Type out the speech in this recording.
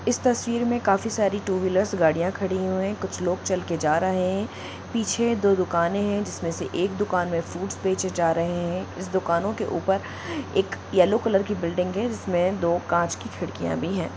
इस तस्वीर में काफी सारी टू-व्हीलर्स गाडियां खड़ी हुए हैकुछ लोग चल कर जा रहे है पीछे दो दुकाने है जिसमे से एक दूकान में फूड्स बेचे जा रहे है इस दुकानों के ऊपर एक येलो कॉलर की बिल्डिंग हैजिसमे दो कांच की खिड़कियां भी है।